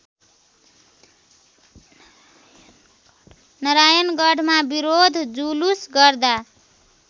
नारायणगढमा विरोध जुलुस गर्दा